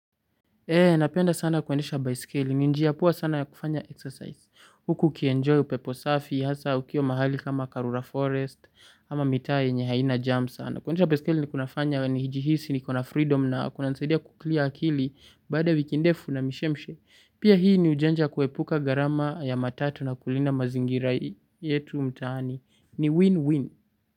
Eh, napenda sana kuendesha baiskeli. Ni njia poa sana ya kufanya exercise. Huku ukienjoy upepo safi, hasa ukiwa mahali kama karura forest, ama mitaa yenye haina jam sana. Kuendesha baiskeli kunafanya nijihisi niko na freedom na kunanisadia kuclear akili baada wiki ndefu na mishemshe. Pia hii ni ujanja ya kuepuka gharama ya matatu na kulinda mazingira yetu mtaani. Ni win-win.